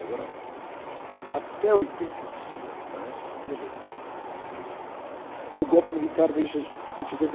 Até oitenta e cinco, me parece, veja bem, o golpe militar vem em se, sessenta